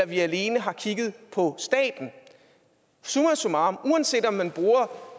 vi alene har kigget på staten summa summarum uanset om man bruger